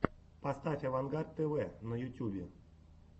поставь авангард тв на ютюбе